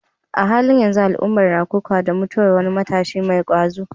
A halin yanzu, al'umma na kokawa da mutuwar wani matashi mai ƙwazo.